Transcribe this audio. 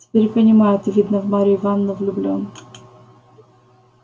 теперь понимаю ты видно в марью ивановну влюблён